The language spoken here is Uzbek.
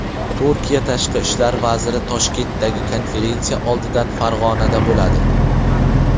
Turkiya Tashqi ishlar vaziri Toshkentdagi konferensiya oldidan Farg‘onada bo‘ladi.